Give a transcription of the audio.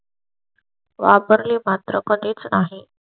वापरले पात्र कडेच आहे.